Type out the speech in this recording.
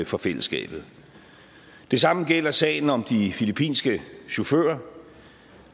for fællesskabet det samme gælder sagen om de filippinske chauffører